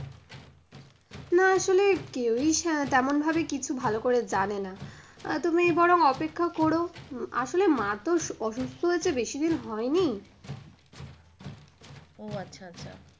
না আসলে কেউই তেমন ভাবে কিছু ভালো করে জানেনা। তুমি বরং অপেক্ষা করো আসলে মা তো অসুস্থ হয়েছে বেশিদিন হয়নি। ও আচ্ছা, আচ্ছা,